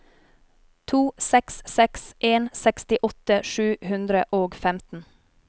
to seks seks en sekstiåtte sju hundre og femten